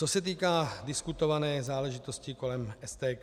Co se týká diskutované záležitosti kolem STK.